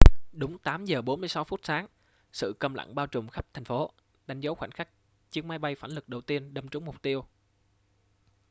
đúng 8 giờ 46 phút sáng sự câm lặng bao trùm khắp thành phố đánh dấu khoảnh khắc chiếc máy bay phản lực đầu tiên đâm trúng mục tiêu